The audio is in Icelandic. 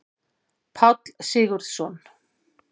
Páll Sigurðsson.